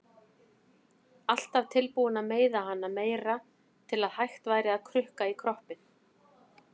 Alltaf tilbúin að meiða hana meira til að hægt væri að krukka í kroppinn.